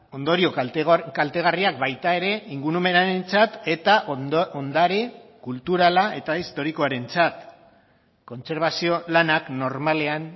ondorio kaltegarriak baita ere ingurumenarentzat eta ondare kulturala eta historikoarentzat kontserbazio lanak normalean